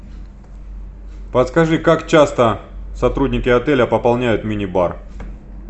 подскажи как часто сотрудники отеля пополняют мини бар